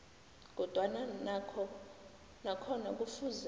kodwana nakhona kufuze